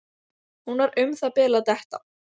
Hún var um það bil að detta.